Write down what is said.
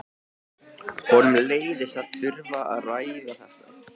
Honum leiðist að þurfa að ræða þetta.